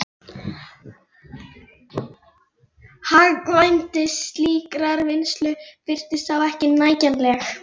Hagkvæmni slíkrar vinnslu virtist þá ekki nægjanleg.